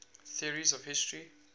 theories of history